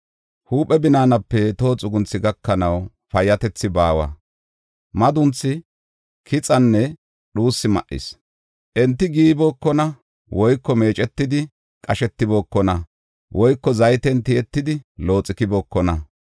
Huuphe binaanape toho xugunthi gakanaw payyatethi baawa; madunthi, kixinne dhuusi ma7is. Enti giiybookona, woyko meecetidi qashetibookona woyko zayten tiyetidi looxikbookona.